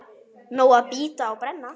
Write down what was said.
Nóg að bíta og brenna.